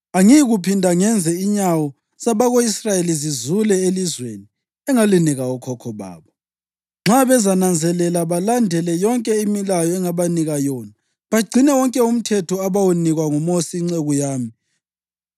Angiyikuphinda ngenze inyawo zabako-Israyeli zizule elizweni engalinika okhokho babo, nxa bezananzelela balandele yonke imilayo engabanika yona bagcine wonke uMthetho abawunikwa nguMosi inceku yami.”